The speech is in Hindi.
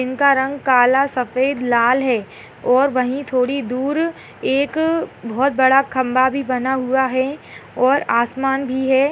इनका रंग काला सफ़ेद लाल है और वहीं थोड़ी दूर एक बहुत बड़ा खम्बा भी बना हुआ है और आसमान भी है।